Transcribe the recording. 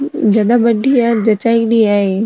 ज्यादा बड़ी है जच्चाएडी है ये।